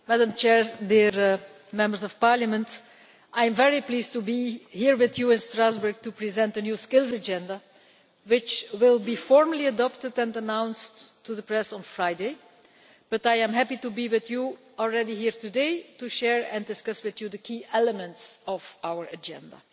Madam President, dear Members of Parliament, I am very pleased to be here with you in Strasbourg to present the New Skills Agenda, which will be formally adopted and announced to the press on Friday. But I am happy to be with you already here today to share and discuss with you the key elements of our Agenda.